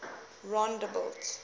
rondebult